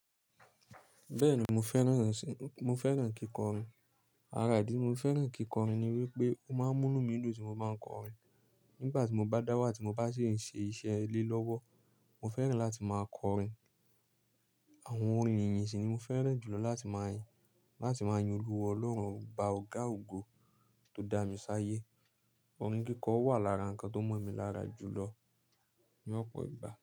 Bẹ́ẹ̀ni, mo fẹ́ràn ṣẹ́, mo fẹ́ràn kíkọrin. Ara ìdí tí mo fi fẹ́ràn kíkọ orin ni wípé, ó máa ń mú núù mi dùn tí mo bá ń kọrin. Nígbà tí mo bá dáwà tí mo bá sì ń ṣe iṣẹ́ ilé lọ́wọ́, mo fẹ́ràn láti máa kọrin. Àwọn orin ìyìn sì ni mo fẹ́ràn jùlọ láti máa yin, láti máa yin Olúwa Ọlọ́run, ọba ọ̀gá ògo tó dá mi sáyé. Orin kíkọ wà lára nǹkan tó mọ̀ mi lára jùlọ ní ọ̀pọ̀ ìgbà.